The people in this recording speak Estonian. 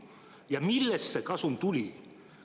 Ja millest see kasum tuli?